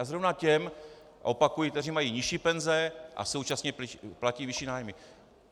A zrovna těm - opakuji - kteří mají nižší penze a současně platí vyšší nájmy.